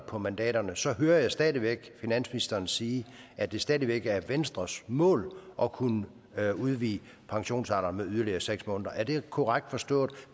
på mandaterne så hører jeg stadig væk finansministeren sige at det stadig væk er venstres mål at kunne udvide pensionsalderen med yderligere seks måneder er det korrekt forstået